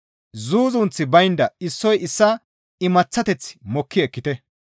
Zuuzunththi baynda issoy issaa imaththateth mokki ekkite.